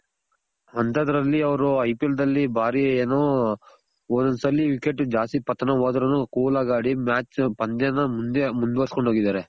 ಅಂತದ್ರಲ್ಲಿ ಅವ್ರು IPL ದಲ್ಲಿ ಬಾರಿ ಏನು ಒಂದೊಂದ್ ಸಲಿ wicket ಜಾಸ್ತಿ ಪತನ ವಾದ್ರುನು cool ಆಗ್ ಆಡಿ match ಪಂದ್ಯ ನ ಮುಂದೆ ಮುಂದ್ ವರ್ಸ್ಕೊಂಡ್ ಹೋಗಿದಾರೆ